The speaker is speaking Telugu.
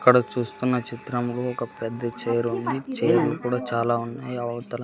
ఇక్కడ చూస్తున్న చిత్రంలో ఒక పెద్ద చేరు ఉంది చేనులు కూడా చాలా ఉన్నాయి అవతల.